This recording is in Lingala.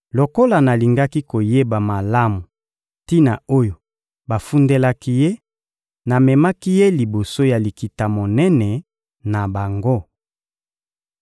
Lokola nalingaki koyeba malamu tina oyo bafundelaki ye, namemaki ye liboso ya Likita-Monene na bango.